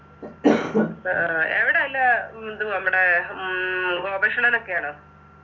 ആ എവിടെല്ല ഉം ഇതു നമ്മടെ ഉം ഗോപകിഷ്ണനൊക്കെയാണോ